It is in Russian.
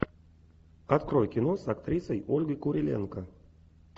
открой кино с актрисой ольгой куриленко